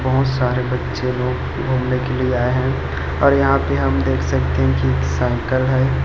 बहुत सारे बच्चे लोग घूमने के लिए आए हैं और यहां पे हम देख सकते हैं कि एक साइकिल है।